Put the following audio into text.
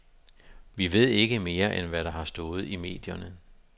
Vi ved ikke mere, end hvad der har stået i medierne.